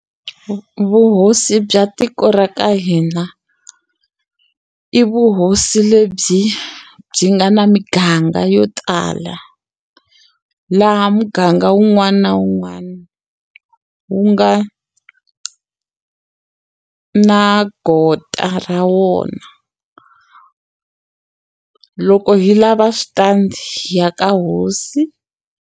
vuhosi bya tiko ra ka hina i vuhosi lebyi byi nga na miganga yo tala laha muganga wun'wani na wun'wani wu nga na gota ra wona loko hi lava switandi hi ya ka hosi.